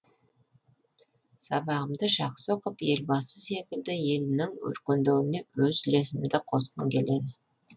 сабағымды жақсы оқып елбасы секілді елімнің өркендеуіне өз үлесімді қосқым келеді